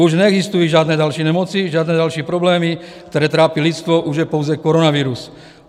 Už neexistují žádné další nemoci, žádné další problémy, které trápí lidstvo, už je pouze koronavirus.